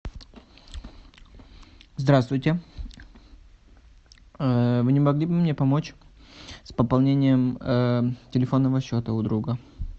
здравствуйте вы не могли бы мне помочь с пополнением телефонного счета у друга